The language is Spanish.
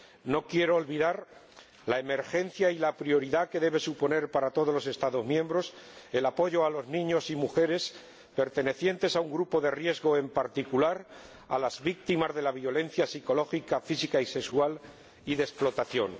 No quiero olvidar la emergencia y la prioridad que debe suponer para todos los Estados miembros el apoyo a los niños y a las mujeres pertenecientes a un grupo de riesgo en particular, a las víctimas de la violencia psicológica, física y sexual y de la explotación.